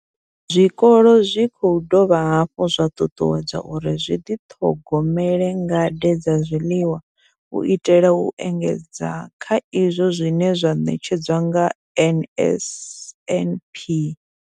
Zwikolo zwi khou dovha hafhu zwa ṱuṱuwedzwa uri zwi ḓi ṱhogomele ngade dza zwiḽiwa u itela u engedza kha izwo zwine zwa ṋetshedzwa nga NSNP.